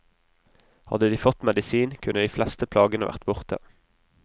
Hadde de fått medisin, kunne de fleste plagene vært borte.